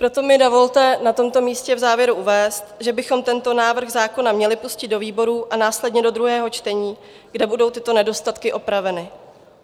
Proto mi dovolte na tomto místě v závěru uvést, že bychom tento návrh zákona měli pustit do výborů a následně do druhého čtení, kde budou tyto nedostatky opraveny.